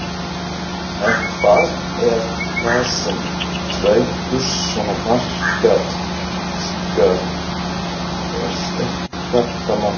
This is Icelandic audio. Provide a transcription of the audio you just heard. En hvað er það sem dregur svona marga kínverska ferðamenn til Íslands?